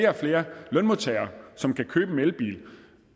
og flere lønmodtagere som kan købe en elbil